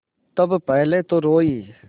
तब पहले तो रोयी